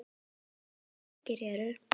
Stærstu borgir eru